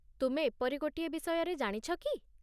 ତୁମେ ଏପରି ଗୋଟିଏ ବିଷୟରେ ଜାଣିଛ କି?